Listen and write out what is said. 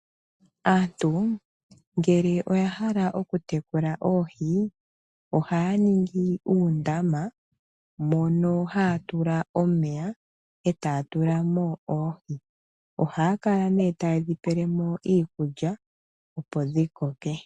Aantu ngele oya hala oku tekula oohi. Ohaya ningi uundama moka haya tula omeya, eta ya tulamo oohi. Ohaya kala ne ta yedhi peelemo iikulya opo dhi koke.